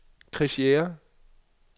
Chris Jæger